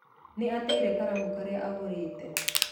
Nĩ ateire karamu karĩa aagũrĩte